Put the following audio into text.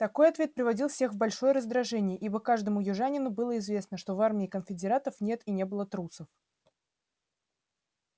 такой ответ приводил всех в большое раздражение ибо каждому южанину было известно что в армии конфедератов нет и не было трусов